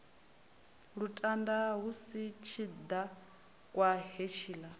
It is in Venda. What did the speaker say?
lutanda hu si tshidakwa hetshiḽa